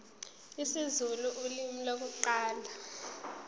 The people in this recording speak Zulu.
isizulu ulimi lokuqala